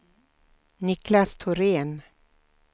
Niklas Thorén